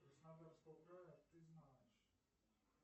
краснодарского края ты знаешь